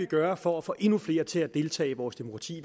gøre for at få endnu flere til at deltage i vores demokrati